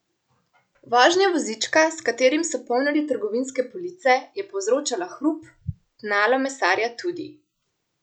Vožnja vozička, s katerim so polnili trgovinske police, je povzročala hrup, tnalo mesarja tudi.